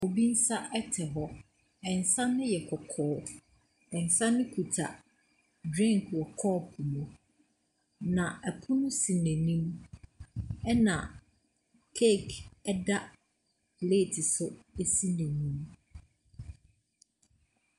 Obi nsa ɛte hɔ, nsa no yɛ kɔkɔɔ. Nsa no kita drink wɔ kɔpo mu, na pono ɛsi n’anim na cake nso ɛda plate so ɛsi n’anim.